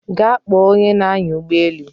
Gaa kpọọ onye na-anya ụgbọelu